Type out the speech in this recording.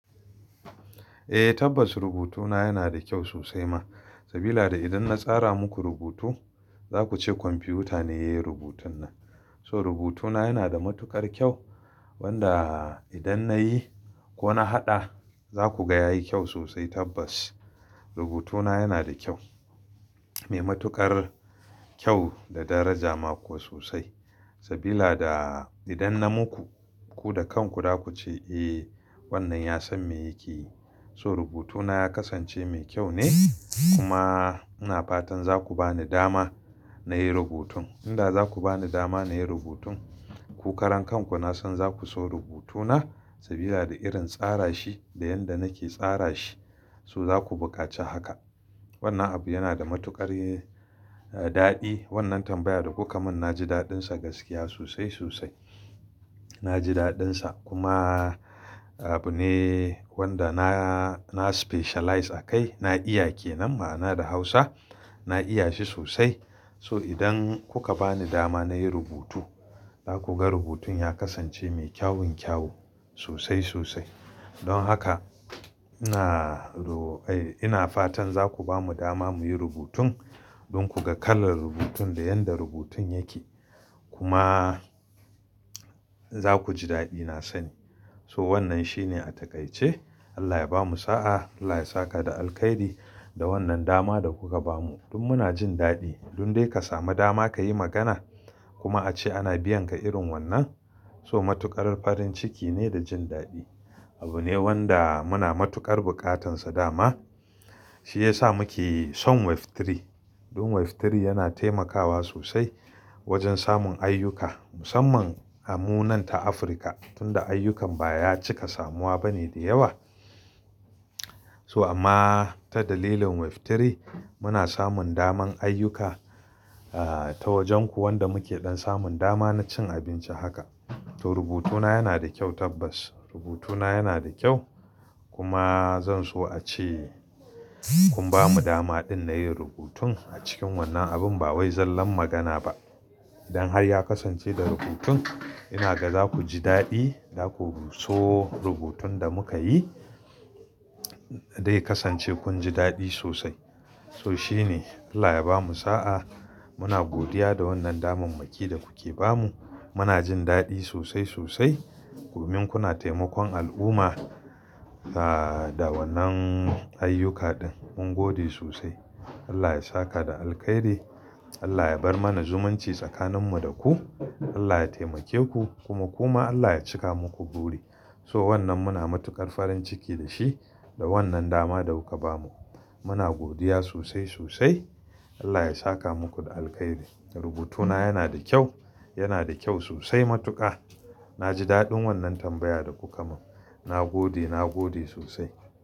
Eh tabbas rubutuna yana da kyau sosai ma. Sabila da idan na tsara muku rubutu za kuce kwamfiyuta ne ya yi rubutun nan. So rubutuna yana da matuƙar kyau wanda idan nayi ko na haɗa za ku ga yayi kyau sosai tabbas. Rubutuna yana da kyau, me matuƙar kyau da daraja ma kuwa sosai. Sabila da idan na muku, ku da kanku za kuce eh wannan ya san me yake yi. So rubutuna ya kasance mai kyau ne kuma ina fatan za ku ba ni dama nayi rubutun. Inda za ku ba ni dama nayi rubutun, ku karan kanku na san za ku so rubutuna sabila da irin tsara shi da yanda nake tsara shi so za ku bukaci haka. Wannan abu yana da matuƙar daɗi. Wannan tambaya da kuka mun na ji daɗin sa gaskiya sosai sosai. Na ji daɗin sa kuma abu ne wanda na specialize a kai. Na iya ke nan ma ana da Hausa. Na iya shi sosai. So idan kuka ba ni dama nayi rubutu, za ku ga rubutun ya kasance mai kyawun kyau sosai sosai. Don haka ina ro-- ai ina fatan za ku bamu dama muyi rubutun don ku ga kalar rubutun da yanda rubutun yake. Kuma za ku ji daɗi na sani. To wannan shine a takaice. Allah ya bamu sa'a. Allah ya saka da alkhairi da wannan dama da kuka bamu. Tun muna jin daɗi. Dun dai ka samu dama kayi magana kuma ace ana biyan ka irin wannan. So matuƙar farin ciki ne da jin daɗi. Abu ne wanda muna matuƙar buƙatan sa dama. Shi ya sa muke son web3. Don web3 yana taimakawa sosai wajen samun ayyuka musamman a mu nan ta Afirka tunda ayyukan baya cika samuwa bane da yawa. So amma ta dalilin web3 muna samun daman ayyuka ah ta wajenku wanda muke don samun dama na cin abinci haka. To rubutuna yana da kyau tabbas. Rubutuna yana da kyau kuma zan so ace kun bamu damaɗin na yin rubutun a cikin wannan abun ba wai zallan magana ba. Idan har ya kasance da rubutun ina ga za ku ji daɗi. Za ku so rubutun da muka yi dai kasance kun ji daɗi sosai. To shi ne. Allah ya bamu sa'a. Muna godiya da wannan damammaki da kuke bamu. Muna jin daɗi sosai sosai. Domin kuna taimakon al'umma ah da wannan ayyuka ɗin. Mun gode sosai. Allah ya saka da alkhairi. Allah ya bar mana zumunci tsakaninmu da ku. Allah ya taimake ku kuma ku ma Allah ya cika muku buri. So wannan muna matuƙar farin ciki da shi da wannan dama da kuka bamu. Muna godiya sosai sosai. Allah ya saka muku da alkhairi. Rubutuna yana da kyau, yana da kyau sosai matuƙa. Na ji daɗin wannan tambaya da kuka mun. Na gode, na gode sosai.